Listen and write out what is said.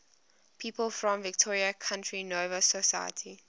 people from victoria county nova scotia